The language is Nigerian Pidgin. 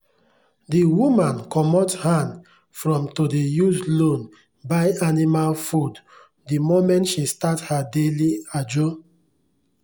the woman comot hand from to dey use loan buy animal food the moment she start her daily ajo.